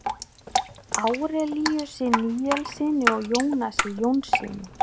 Árelíusi Níelssyni og Jónasi Jónssyni.